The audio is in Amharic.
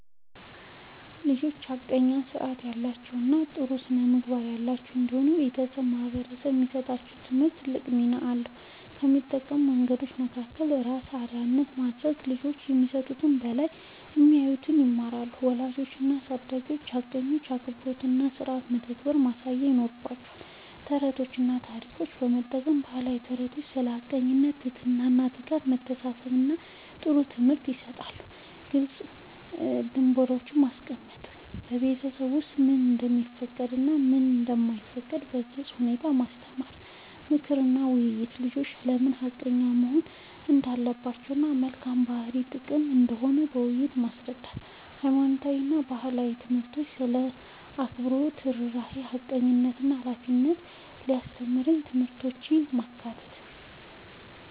ልጆች ሐቀኛ፣ ሥርዓት ያላቸው እና ጥሩ ስነ-ምግባር ያላቸው እንዲሆኑ በቤተሰብ እና በማህበረሰብ የሚሰጣቸው ትምህርት ትልቅ ሚና አለው። ከሚጠቅሙ መንገዶች መካከል፦ ራስን አርአያ ማድረግ፦ ልጆች ከሚሰሙት በላይ የሚያዩትን ይማራሉ። ወላጆች እና አሳዳጊዎች ሐቀኝነትን፣ አክብሮትን እና ሥርዓትን በተግባር ማሳየት ይኖርባቸዋል። ተረቶችን እና ታሪኮችን መጠቀም፦ የባህል ተረቶች ስለ ሐቀኝነት፣ ትህትና፣ ትጋት እና መተሳሰብ ጥሩ ትምህርት ይሰጣሉ። ግልጽ ደንቦች ማስቀመጥ፦ በቤት ውስጥ ምን እንደሚፈቀድ እና ምን እንደማይፈቀድ በግልጽ ሁኔታ ማስተማር። ምክር እና ውይይት፦ ልጆች ለምን ሐቀኛ መሆን እንዳለባቸው እና የመልካም ባህሪ ጥቅም ምን እንደሆነ በውይይት ማስረዳት። ሃይማኖታዊ እና ባህላዊ ትምህርቶች ስለ አክብሮት፣ ርህራሄ፣ ሐቀኝነት እና ሃላፊነት የሚያስተምሩ ትምህርቶችን ማካተት።